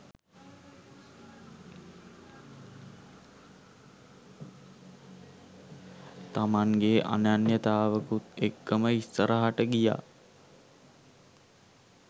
තමන්ගේ අනන්‍යතාවකුත් එක්කම ඉස්සරහට ගියා